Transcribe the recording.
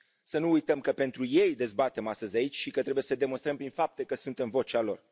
Să nu uităm că pentru ei dezbatem astăzi aici și că trebuie să demonstrăm prin fapte că suntem vocea lor.